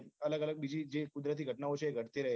અલગ અલગ બીજી જે કુદરતી ઘટનાઓ છે એ ઘટતી રહે છે